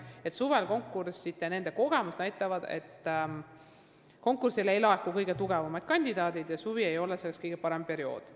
Nende arvates näitab senine kogemus, et suvistele konkurssidele ei laeku kõige tugevamad kandidaadid, st suvi ei ole konkursside korraldamiseks kõige parem periood.